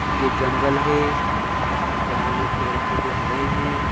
ये जंगल है। जंगल में पेड़-पौधे हरे है।